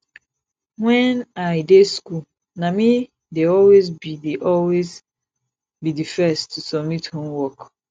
wen i dey school na me dey always be dey always be the first to submit homework